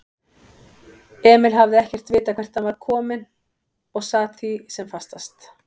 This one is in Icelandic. Emil hafði ekkert vitað hvert hann var kominn og sat því sem fastast.